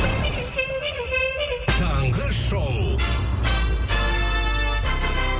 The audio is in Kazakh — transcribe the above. таңғы шоу